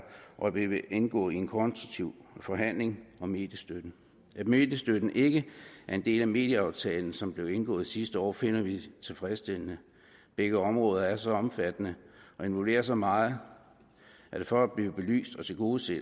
og vi vil indgå i en konstruktiv forhandling om mediestøtten at mediestøtten ikke er en del af medieaftalen som blev indgået sidste år finder vi tilfredsstillende begge områder er så omfattende og involverer så meget at for at blive belyst og tilgodeset